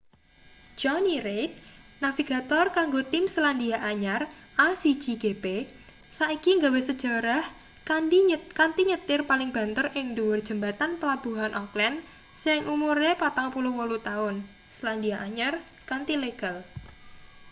johny reid navigator kanggo tim selandia anyar a1gp saiki gawe sejarah kanthi nyetir paling banter ing ndhuwur jembatan pelabuhan auckland sing umure 48-taun selandia anyar kanthi legal